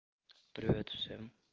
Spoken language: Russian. привет всем